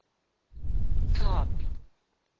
tlhapi